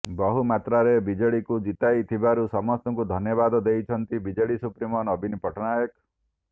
ବହୁମାତ୍ରାରେ ବିଜେଡିକୁ ଜିତାଇ ଥିବାରୁ ସମସ୍ତଙ୍କୁ ଧନ୍ୟବାଦ ଦେଇଛନ୍ତି ବିଜେଡି ସୁପ୍ରିମୋ ନବୀନ ପଟ୍ଟନାୟକ